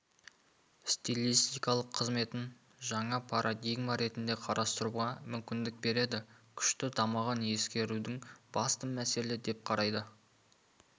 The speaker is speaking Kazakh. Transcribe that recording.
стилистикалық қызметін жаңа парадигма ретінде қарастыруға мүмкіндік береді күшті дамығанын ескеруді басты мәселе деп қарайды